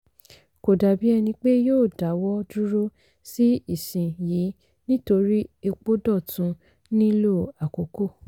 kò dàbí ẹni pé yóò dáwọ́ dúró sí ìsin yìí nítorí epo dọ̀tun nílò àkókò.